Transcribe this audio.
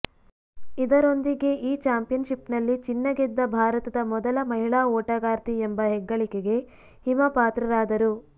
ಇದರೊಂದಿಗೆ ಈ ಚಾಂಪಿಯನ್ಶಿಪ್ನಲ್ಲಿ ಚಿನ್ನ ಗೆದ್ದ ಭಾರತದ ಮೊದಲ ಮಹಿಳಾ ಓಟಗಾರ್ತಿ ಎಂಬ ಹೆಗ್ಗಳಿಕೆಗೆ ಹಿಮಾ ಪಾತ್ರರಾದರು